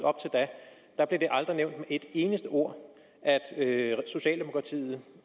op blev det aldrig nævnt med et eneste ord og socialdemokratiet